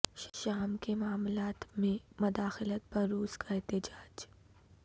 شام کے معاملات میں مداخلت پر روس کا احتجاج